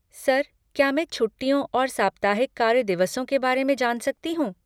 Sir, क्या मैं छुट्टियों और साप्ताहिक कार्य दिवसों के बारे में जान सकती हूँ?